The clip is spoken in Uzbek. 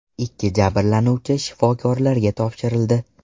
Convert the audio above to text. Ikki jabrlanuvchi shifokorlarga topshirildi.